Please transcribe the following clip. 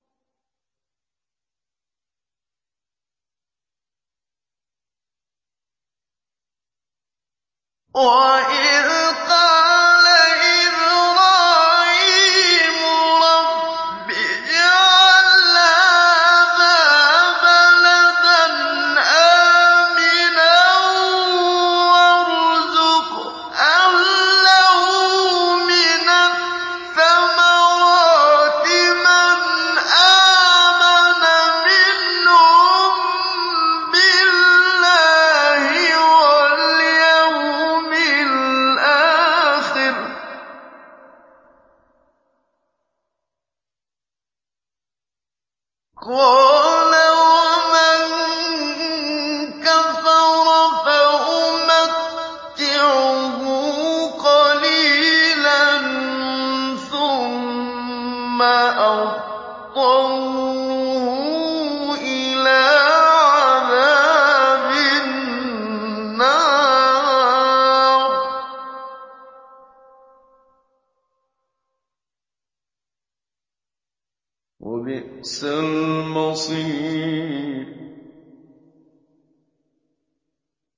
وَإِذْ قَالَ إِبْرَاهِيمُ رَبِّ اجْعَلْ هَٰذَا بَلَدًا آمِنًا وَارْزُقْ أَهْلَهُ مِنَ الثَّمَرَاتِ مَنْ آمَنَ مِنْهُم بِاللَّهِ وَالْيَوْمِ الْآخِرِ ۖ قَالَ وَمَن كَفَرَ فَأُمَتِّعُهُ قَلِيلًا ثُمَّ أَضْطَرُّهُ إِلَىٰ عَذَابِ النَّارِ ۖ وَبِئْسَ الْمَصِيرُ